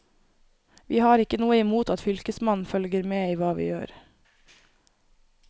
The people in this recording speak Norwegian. Vi har ikke noe imot at fylkesmannen følger med i hva vi gjør.